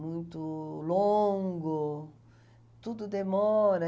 muito longo, tudo demora.